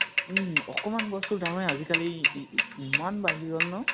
উম । অকমান বস্তু ৰ দামেই আজিকালি ই ই ইমান বাঢ়ি গʼল ন ?